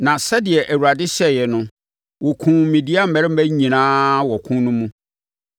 Na sɛdeɛ Awurade hyɛeɛ no, wɔkumm Midian mmarima nyinaa wɔ ɔko no mu.